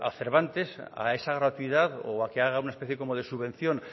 cervantes a esa gratuidad o a que haga una especie de subvención